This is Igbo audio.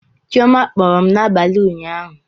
Chioma kpọrọ m n'abalị ụnyaahụ